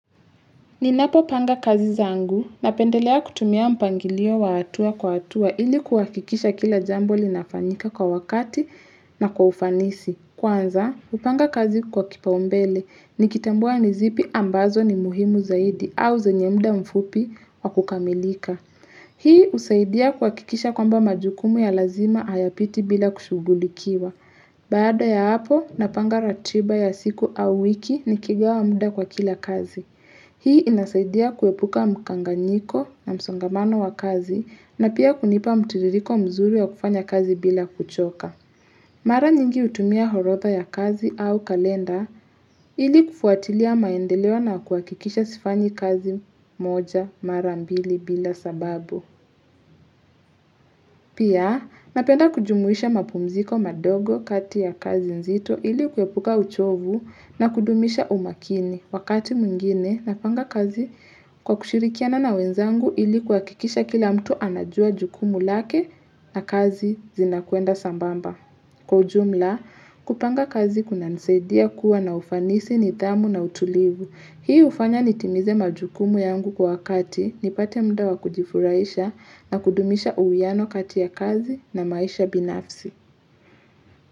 Ninapopanga kazi zangu napendelea kutumia mpangilio wa hatua kwa hatua ili kuhakikisha kila jambo linafanyika kwa wakati na kwa ufanisi. Kwanza, hupanga kazi kwa kipaumbele, nikitambua ni zipi ambazo ni muhimu zaidi au zenye muda mfupi wa kukamilika. Hii husaidia kuhakikisha kwamba majukumu ya lazima hayapiti bila kushugulikiwa. Baada ya hapo, napanga ratiba ya siku au wiki nikigawa muda kwa kila kazi. Hii inasaidia kuepuka mkanganyiko na msongamano wa kazi na pia kunipa mtiririko mzuri ya kufanya kazi bila kuchoka. Mara nyingi hutumia orodha ya kazi au kalenda ili kufuatilia maendeleo na kuhakikisha sifanyi kazi moja mara mbili bila sababu. Pia napenda kujumuisha mapumziko madogo kati ya kazi nzito ili kuepuka uchovu na kudumisha umakini. Wakati mwingine, napanga kazi kwa kushirikiana na wenzangu ili kuhakikisha kila mtu anajua jukumu lake na kazi zinakwenda sambamba. Kwa ujumla, kupanga kazi kunanisaidia kuwa na ufanisi nidhamu na utulivu. Hii hufanya nitimize majukumu yangu kwa wakati, nipate muda wa kujifurahisha na kudumisha uwiano kati ya kazi na maisha binafsi.